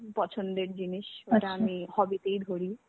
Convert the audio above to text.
পছন্দের জিনিস যেটা আমি hobby তেই ধরি.